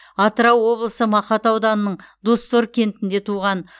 атырау облысы мақат ауданының доссор кентінде туған